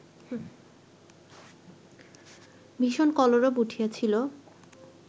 ভীষণ কলরব উঠিয়াছিল